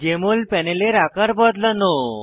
JML প্যানেলের আকার বদলানো